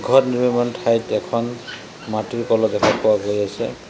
ঘৰ নিৰ্মাণ ঠাইত এখন মাটিৰ কলহ দেখা পোৱা গৈ আছে।